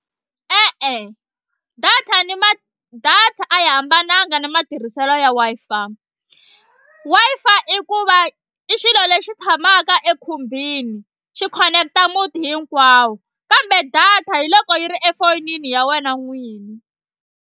E-e data ni data a yi hambananga na matirhiselo ya Wi-Fi. Wi-Fi i ku va i xilo lexi tshamaka ekhumbini xi connect-a muti hinkwawo kambe data hi loko yi ri efonini ya wena n'wini.